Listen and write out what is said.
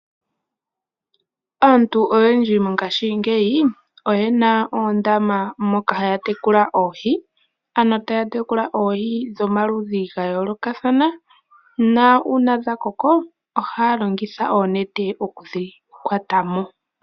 Aantu oyendji mongaashingeyi oyena oondama moka haya tekula oohi, ano taya tekula oohi dhomaludhi ga yoolokathana, nuuna dha koko ohaya longitha oonete okudhi kwatamo.